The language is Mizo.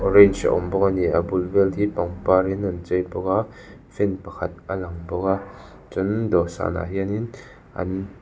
orange a awm bawk a ni a bul vel te hi pangparin an chei bawk a fan pakhat a lang bawk a chuanin dawhsanah hianin an --